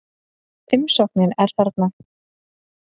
Umsóknin er þarna